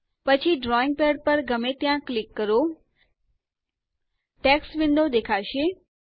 પછી drawing pad પર ગમે ત્યાં ક્લિક કરો ટેક્સ્ટ વિન્ડો દેખાશે